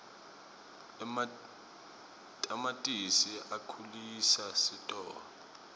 ematamatisi akhulisa sitolo